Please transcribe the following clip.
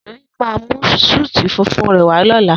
Doyin máa mú súútù funfun rè wá lóla